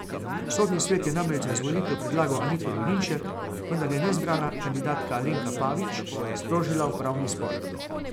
Sodni svet je namreč za izvolitev predlagal Anito Dolinšek, vendar je neizbrana kandidatka Alenka Pavič sprožila upravni spor.